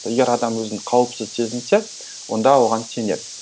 егер адам өзін қауіпсіз сезінсе онда оған сенеді